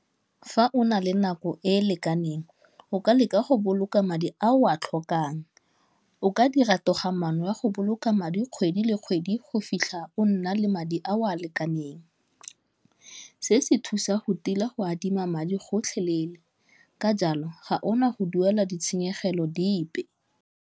Fa o na le nako e e lekaneng o ka leka go boloka madi a o a tlhokang, o ka dira toga-maano ya go boloka madi kgwedi le kgwedi go fitlha o nna le madi a o a lekaneng, se se thusa go tila go adima madi gotlhelele ka jalo ga ona go duela ditshenyegelo dipe.